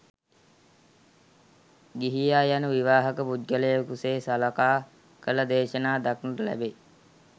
ගිහියා යනු විවාහක පුද්ගලයෙකුසේ සලකා කළ දේශනා දක්නට ලැබේ.